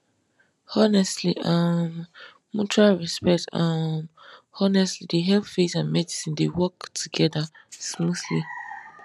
honestly um mutual respect um honestly dey help faith and medicine dey work together smoothly